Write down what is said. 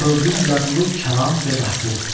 Gördüm yazılı kəlam be məhbub.